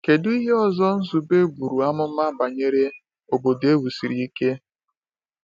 Kedu ihe ọzọ Nzube buru amụma banyere “obodo ewusiri ike”?